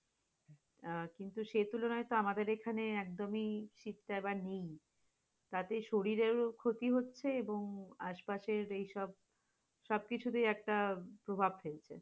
আহ কিন্তু সেই তুলনায় তো আমাদের এখানে একদমই শীতটা এবার নেই, তাতে শরীরের ক্ষতি হয়েছে এবং আশপাশে যেইসব, সবকিছুতেই প্রভাব ফেলছে